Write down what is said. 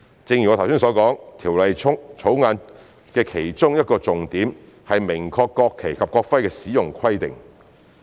正如我剛才所說，《條例草案》的其中一個重點是明確國旗及國徽的使用規定。